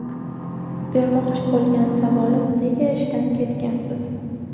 Bermoqchi bo‘lgan savolim nega ishdan ketgansiz?